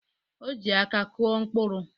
O ji aka kụọ mkpụrụ.